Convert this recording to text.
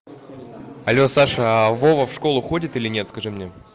алло саша а вова в школу ходит или нет скажи мне